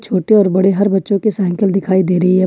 छोटे और बड़े हर बच्चों की साइकिल दिखाई दे रही है।